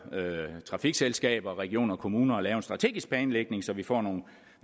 trafikselskaber regioner og kommuner at lave en strategisk planlægning så vi får nogle